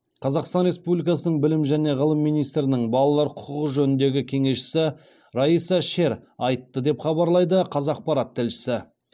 қазақстан республикасының білім және ғылым министрінің балалар құқығы жөніндегі кеңесшісі райса шер айтты деп хабарлайды қазақпарат тілшісі